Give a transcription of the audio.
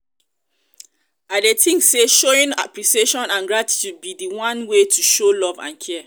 i dey think say showing appreciation and gratitude be di one way to show love and care.